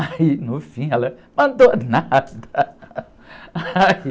Aí, no fim, ela, mandou nada.